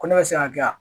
Ko ne bɛ se ka kɛ yan